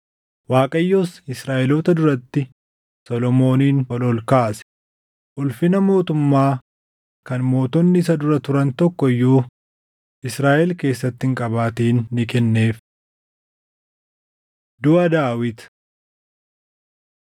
Waaqayyos Israaʼeloota duratti Solomoonin ol ol kaase; ulfina mootummaa kan mootonni isa dura turan tokko iyyuu Israaʼel keessatti hin qabaatin ni kenneef. Duʼa Daawit 29:26‑28 kwf – 1Mt 2:10‑12